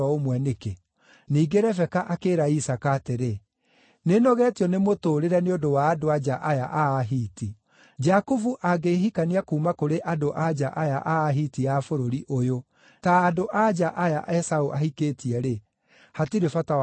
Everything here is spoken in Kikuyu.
Ningĩ Rebeka akĩĩra Isaaka atĩrĩ, “Nĩnogetio nĩ mũtũũrĩre nĩ ũndũ wa andũ-a-nja aya a Ahiti. Jakubu angĩhikania kuuma kũrĩ andũ-a-nja aya a Ahiti a bũrũri ũyũ-rĩ, ta andũ-a-nja aya Esaũ ahikĩtie-rĩ, hatirĩ bata wa gũtũũra muoyo.”